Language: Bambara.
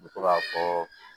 N bɛ to k'a fɔ